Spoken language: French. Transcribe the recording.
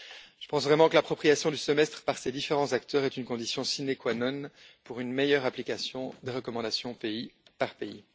Je pense vraiment que l'appropriation du Semestre par ces différents acteurs est une condition sine qua non d'une meilleure application des recommandations pays par pays.